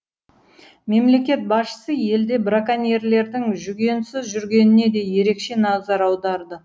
мемлекет басшысы елде браконьерлердің жүгенсіз жүргеніне де ерекше назар аударды